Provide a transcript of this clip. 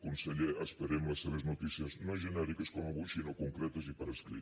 conseller esperem les seves notícies no genèriques com avui sinó concretes i per escrit